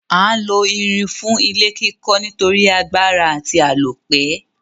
A n lo irin fún ilé kíkó nítorí agbára àti àlópẹ́